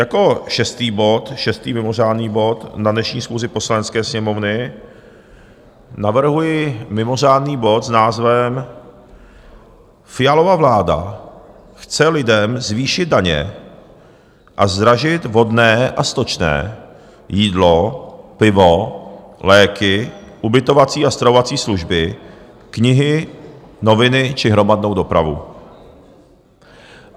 Jako šestý bod, šestý mimořádný bod na dnešní schůzi Poslanecké sněmovny, navrhuji mimořádný bod s názvem Fialova vláda chce lidem zvýšit daně a zdražit vodné a stočné, jídlo, pivo, léky, ubytovací a stravovací služby, knihy, noviny či hromadnou dopravu.